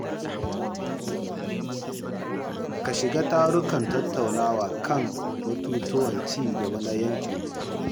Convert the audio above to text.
Ka shiga tarukan tattaunawa kan batutuwan ci gaba na yankinku.